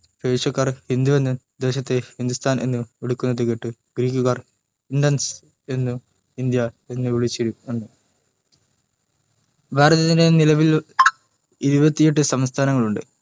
persian കാർ ഹിന്ദുവെന്നും ദേശത്തെ ഹിന്ദുസ്ഥാൻ ഏന് വിളിയ്ക്കുന്നത് കേട്ട greec കാർ indus എന്നും ഇന്ത്യ എന്നും വിളിച്ചുവെന്നു ഭാരതത്തിൽ നിലവിൽ ഇരുവത്തി എട്ടു സംസ്ഥാനങ്ങളുണ്ട്